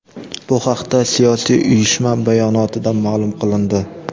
Bu haqda siyosiy uyushma bayonotida ma’lum qilindi.